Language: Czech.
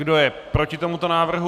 Kdo je proti tomuto návrhu?